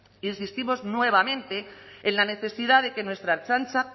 insistimos nuevamente en la necesidad de que nuestra ertzaintza